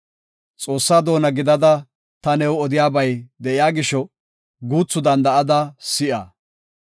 “Xoossaa doona gidada ta new odiyabay de7iya gisho, guuthu danda7ada si7a.